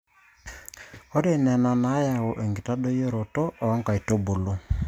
ore ena neyau enkitadoyioroto oo nkaitubulu